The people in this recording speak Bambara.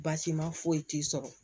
Baasi ma foyi t'i sɔrɔ